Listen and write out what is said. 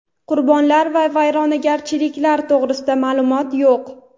Qurbonlar va vayronagarchiliklar to‘g‘risida ma’lumot yo‘q.